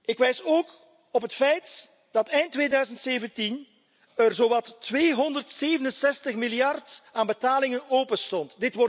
Ik wijs ook op het feit dat er eind 2017 zowat 267 miljard aan betalingen openstond.